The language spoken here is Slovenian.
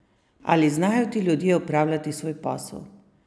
Ali znajo ti ljudje opravljati svoj posel?